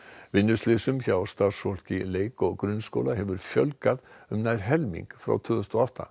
vinnuslysum hjá starfsfólki leik og grunnskóla hefur fjölgað um nær helming frá tvö þúsund og átta